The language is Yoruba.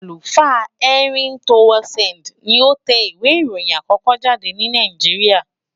Àlùfáà Henry Townsend ni ó tẹ ìwé ìròyìn àkókó jáde ní Nàìjíríà.